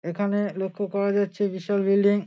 এখানে লক্ষ করা যাচ্ছে যে সব বিল্ডিং |